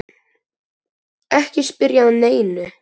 Ekki spyrja að neinu!